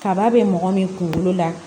Kaba be mɔgɔ min kunkolo la